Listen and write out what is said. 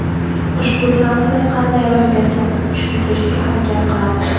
Ushbu transfer qanday ro‘y berganini tushuntirishga harakat qilamiz.